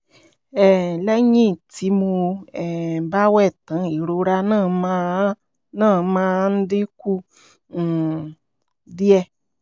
um lẹ́yìn tí mo um bá wẹ̀ tán ìrora náà máa náà máa ń dín kù um díẹ̀